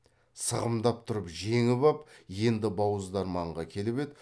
сығымдап тұрып жеңіп ап енді бауыздарманға келіп еді